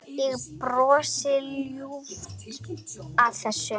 Ég brosi ljúft að þessu.